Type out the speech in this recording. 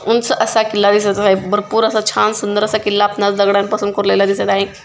उंच असा किल्ला दिसत आहे भरपूर असा छान सुंदर असा किल्ला आपणास दगडांपासून कोरलेला दिसत आहे.